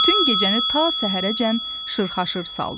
Bütün gecəni ta səhərəcən şırxaşır saldı.